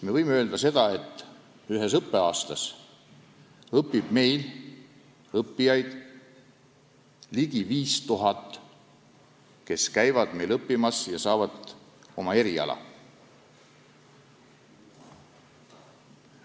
Me võime öelda, et ühes õppeaastas õpib meil ligi 5000 inimest, kes saavad uue eriala.